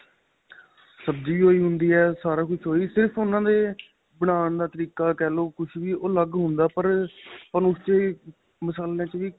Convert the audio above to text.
ਸਬਜ਼ੀ ਵੀ ਉਹੀ ਹੁੰਦੀ ਏ ਸਾਰਾ ਕੁੱਛ ਉਹੀ ਸਿਰਫ਼ ਉਹਨਾ ਦੇ ਬਨਾਣ ਦਾ ਤਰੀਕਾ ਕਹਿ ਲੋ ਕੁੱਛ ਵੀ ਅਲੱਗ ਹੁੰਦਾ ਪਰ ਤੁਹਾਨੂੰ ਉਸ ਚ ਮਸ਼ਾਲਿਆਂ